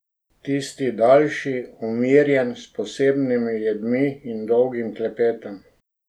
Tisti daljši, umirjen, s posebnimi jedmi in dolgim klepetom.